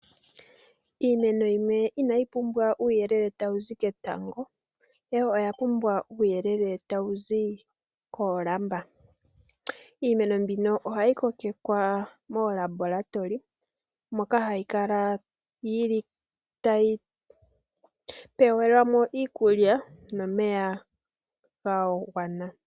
Iimeno yimwe inayi pumbwa uuyelele tawu zi ketango ihe oyapumbwa uuyelele tawu zi koolamba. Iimeno mbino ohayi kokekwa moolabola , moka hayi kala yili tayi pelwamo iikulya yagwana.